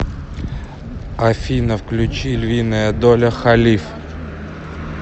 афина включи львиная доля халиф